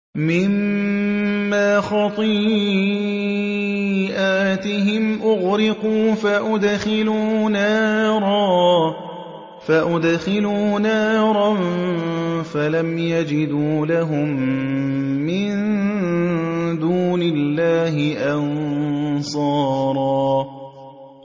مِّمَّا خَطِيئَاتِهِمْ أُغْرِقُوا فَأُدْخِلُوا نَارًا فَلَمْ يَجِدُوا لَهُم مِّن دُونِ اللَّهِ أَنصَارًا